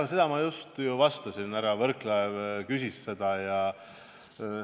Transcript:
Aga sellele ma just enne vastasin, härra Võrklaev küsis selle kohta.